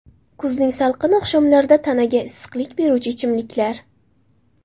Kuzning salqin oqshomlarida tanaga issiqlik beruvchi ichimliklar.